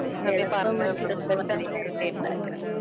എളുപ്പമായിട്ടുള്ള വഴിയിൽ കൂടി ഉണ്ടാക്കാം